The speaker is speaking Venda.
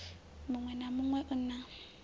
muṋwe na muṋwe u na